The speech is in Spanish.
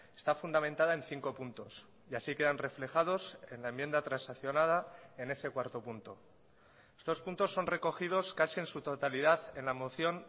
está fundamentada en cinco puntos y así quedan reflejados en la enmienda transaccionada en ese cuarto punto estos puntos son recogidos casi en su totalidad en la moción